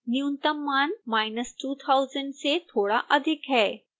न्यूनतम मान2000 से थोड़ा अधिक है